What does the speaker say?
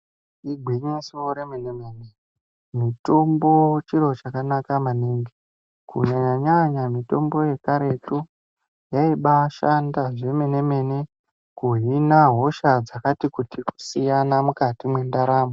Igwinyiso remene-mene mitombo chiro chakanaka maningi kunyanya nyanya mitombo yekaretu yaiba shanda zvemene mene kuhina hosha dzakati kuti kusiyana mukati mwendaramo.